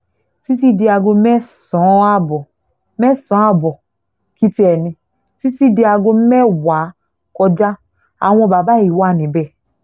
títí di aago mẹ́sàn-án ààbọ̀ mẹ́sàn-án ààbọ̀ kì tiẹ̀ ní títí di aago mẹ́wàá kọjá àwọn bàbá yìí wà níbẹ̀